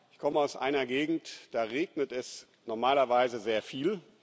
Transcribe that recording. Ich komme aus einer Gegend, da regnet es normalerweise sehr viel.